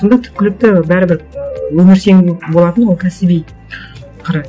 сонда түпкілікті бәрібір ыыы өміршең болатын ол кәсіби қыры